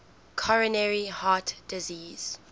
coronary heart disease